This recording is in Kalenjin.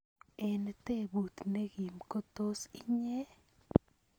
Eng tebut nekim ko tos inye?